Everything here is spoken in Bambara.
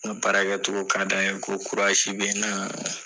N ka baara kɛ togo ka d'a ye. Ko be n na.